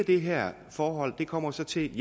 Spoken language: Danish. det her forhold kommer til til